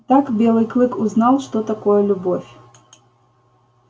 так белый клык узнал что такое любовь